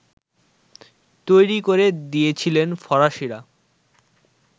তৈরি করে দিয়েছিল ফরাসিরা